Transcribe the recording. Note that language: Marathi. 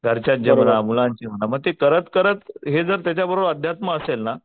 घरच्यांची म्हणा मुलांची म्हणा मग ते करत हे जर त्याच्याबरोबर अध्यात्म असेल ना.